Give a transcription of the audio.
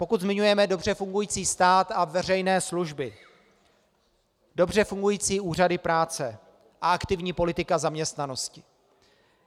Pokud zmiňujeme dobře fungující stát a veřejné služby, dobře fungující úřady práce a aktivní politiku zaměstnanosti.